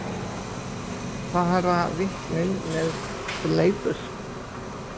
Fara vitnin með fleipur?